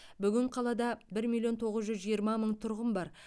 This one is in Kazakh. бүгін қалада бір миллион тоғыз жүз жиырма мың тұрғын бар